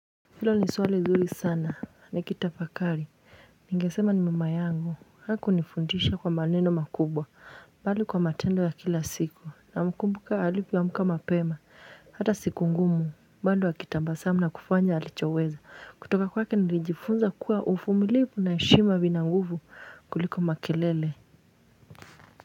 Hilo ni swali zuri sana, nikitafakari, ningesema ni mama yangu, hakunifundisha kwa maneno makubwa, bali kwa matendo ya kila siku, namkumbuka alipoamka mapema, hata siku ngumu, bado akitabasamu na kufanya alichoweza, kutoka kwake nilijifunza kuwa uvumilivu na heshima vina nguvu kuliko makelele.